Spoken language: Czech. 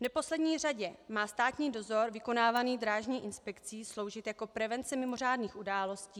V neposlední řadě má státní dozor vykonávaný Drážní inspekcí sloužit jako prevence mimořádných událostí.